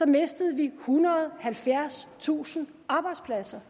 mistede vi ethundrede og halvfjerdstusind arbejdspladser